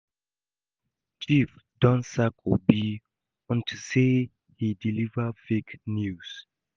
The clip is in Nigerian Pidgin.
Chief don sack Obi unto say he deliver fake news